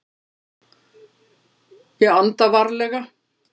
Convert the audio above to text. Ég anda varlega.